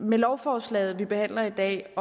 med lovforslaget vi behandler i dag